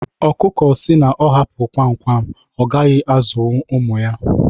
ọkụkụ si na ọ hapụ kwam kwam ọgaghi azụwu ụmụ ya